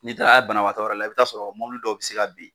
N'i taara banabagatɔ yɔrɔ la i bi t'a sɔrɔ mobili dɔw be se ka ben